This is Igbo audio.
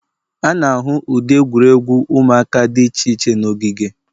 A na-ahụ ụdị egwuregwu ụmụaka dị iche iche n'ogige.